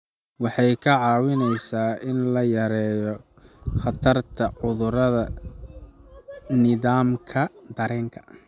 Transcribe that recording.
Waxay kaa caawinaysaa in la yareeyo khatarta cudurrada nidaamka dareenka.